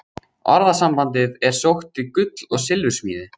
Orðasambandið er sótt til gull- og silfursmíði.